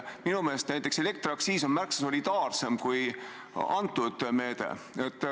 Minu meelest on näiteks elektriaktsiisi alandamine märksa solidaarsem kui antud meede.